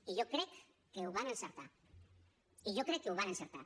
i jo crec que ho van encertar i jo crec que ho van encertar